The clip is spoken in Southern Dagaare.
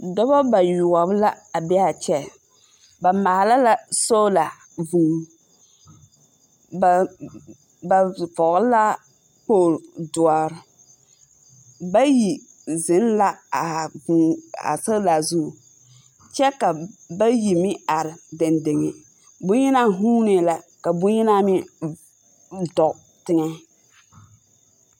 Dͻba bayoͻbͻ la a be a kyԑ. Ba maala la soola vũũ. Ba ba vͻgele la kpooli dõͻre. bayi zeŋ la a vũũ, a sola zu, kyԑ ka bayi meŋ are dendeŋe. Boŋyenaa vuunee la ka boŋyenaa meŋ dͻge teŋԑ.